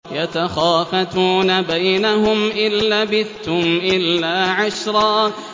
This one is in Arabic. يَتَخَافَتُونَ بَيْنَهُمْ إِن لَّبِثْتُمْ إِلَّا عَشْرًا